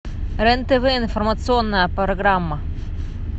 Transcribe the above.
рен тв информационная программа